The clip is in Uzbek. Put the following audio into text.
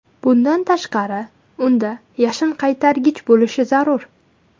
Bundan tashqari, unda yashinqaytargich bo‘lishi zarur.